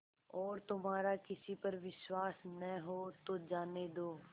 और तुम्हारा किसी पर विश्वास न हो तो जाने दो